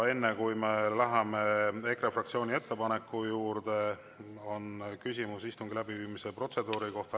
Enne, kui me läheme EKRE fraktsiooni ettepaneku juurde, on küsimus istungi läbiviimise protseduuri kohta.